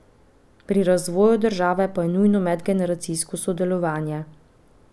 Pri razvoju države pa je nujno medgeneracijsko sodelovanje.